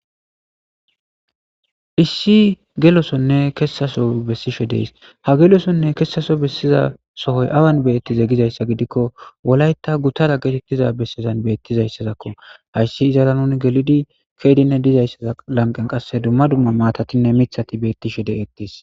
Issi gelosonne kessaso bessishe dees ha gelosonne kessaso bessiza sohoy awan beettize gizayssa gidikko wolayta guttara getettiza bessezan beettizayssazakko hayssi izara nuni gelidi keedinne dizayssaza lanqen qasse dumma dumma maatatinne mithati bettishe deqettis.